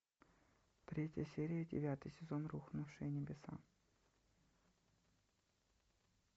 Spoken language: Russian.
третья серия девятый сезон рухнувшие небеса